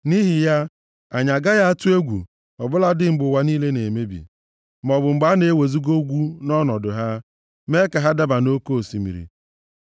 Nʼihi ya, anyị agaghị atụ egwu, ọ bụladị mgbe ụwa niile na-emebi, maọbụ mgbe a na-ewezuga ugwu nʼọnọdụ ha, mee ka ha daba nʼoke osimiri.